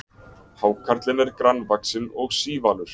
Hákarlinn er grannvaxinn og sívalur.